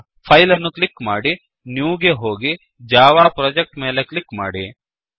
file ಅನ್ನು click ಮಾಡಿ new ಗೆ ಹೋಗಿ ಜಾವಾ ಪ್ರೊಜೆಕ್ಟ್ ಮೇಲೆ ಕ್ಲಿಕ್ ಮಾಡಿ